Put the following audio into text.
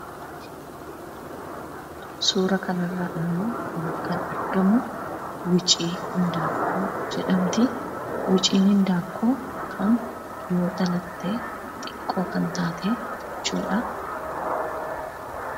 Suuraa kana irra immoo kan argamu Wicii Indanqoo jedhamti. Wiciin Indaanqoo kan dhihoo dhalatee xiqqoo kan taate jechuudha.